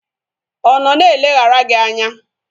Ọ nọ na-eleghara gị anya?